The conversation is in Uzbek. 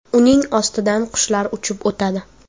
Uning ostidan qushlar uchib o‘tadi.